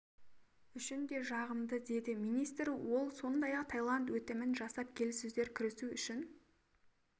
үшін де үшін де жағымды деді министр ол сондай-ақ таиланд өтінім жасап келіссөздер кірісу үшін